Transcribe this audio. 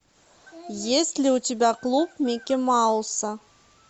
есть ли у тебя клуб микки мауса